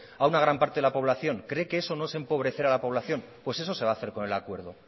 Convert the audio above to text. a una gran parte de la población cree que eso no es empobrecer a la población pues eso se va a hacer con el acuerdo